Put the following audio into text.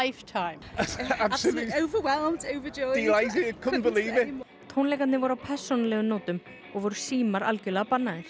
tónleikarnir voru á persónulegum nótum og voru símar bannaðir